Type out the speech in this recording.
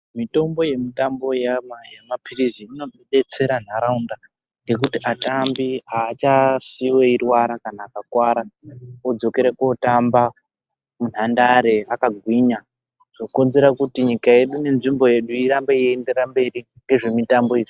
Mitombo yetitambo yemapilizi inodetsera nharaunda ngekuti atambi aachasiiwi eirwara kana akakuwara odzokera kotamba munhandare akagwinya, zvokonzera kuti nyika yedu nenzvimbo yedu irambe yeienderera mberi ngezvemitambo izvi.